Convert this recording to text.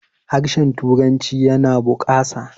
harshen turanci yana bukasa